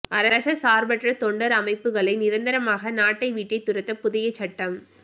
அரச சார்பற்ற தொண்டர் அமைப்புக்களை நிரந்தரமாக நாட்டை விட்டே துரத்த புதிய சட்டம்